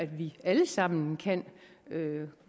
vi alle sammen kan kan